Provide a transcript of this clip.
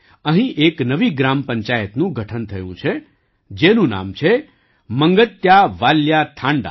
અહીં એક નવી ગ્રામ પંચાયતનું ગઠન થયું છે જેનું નામ છે મંગત્યાવાલ્યા થાંડા